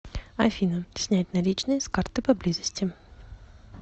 афина снять наличные с карты поблизости